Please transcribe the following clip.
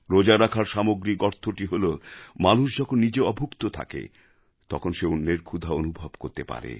রোজা রাখার সামগ্রিক অর্থটি হল মানুষ যখন নিজে অভুক্ত থাকে তখন সে অন্যের ক্ষুধা অনুভব করতে পারে